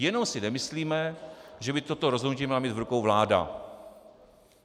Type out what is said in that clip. Jenom si nemyslíme, že by toto rozhodnutí měla mít v rukou vláda.